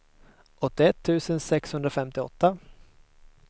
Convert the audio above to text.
åttioett tusen sexhundrafemtioåtta